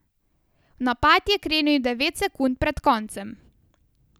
V napad je krenil devet sekund pred koncem.